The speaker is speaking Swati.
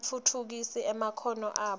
batfutfukise emakhono abo